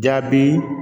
Jaabi